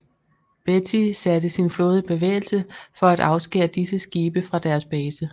Beatty satte sin flåde i bevægelse for at afskære disse skibe fra deres base